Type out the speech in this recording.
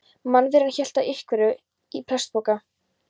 Mannveran hélt á einhverju í plastpoka.